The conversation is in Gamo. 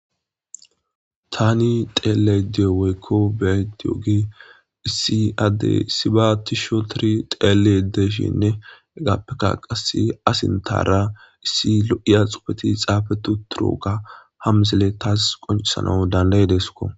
Tani xeelayda diyo woyik beyayida diyogey issi adey issiba tish ootid xelid de'ishninne hegappe qase a sinthara issi lo'iya xuufeti xafeti utidoga tas ha misiley qoncisanas danda'idedko